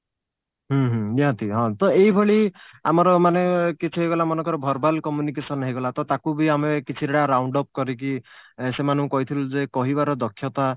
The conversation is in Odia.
ହୁଁ ହୁଁ ନିହାତି ହଁ ତ ଏଇଭଳି ଆମର ମାନେ କିଛି ହେଇଗଲା ମନେକର verbal communication ହେଇଗଲା ତ ତାକୁବି ଆମେ କିଛି ପିଲା round of କରିକି ସେମାନଙ୍କୁ କହିଥିଲୁ ଯେ କହିବାର ଦକ୍ଷତା